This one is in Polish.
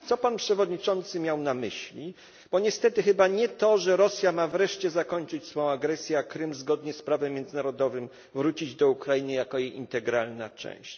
Co pan przewodniczący miał na myśli, bo niestety chyba nie to, że Rosja ma wreszcie zakończyć swą agresję, a Krym zgodnie z prawem międzynarodowym powinien wrócić do Ukrainy jako jej integralna część?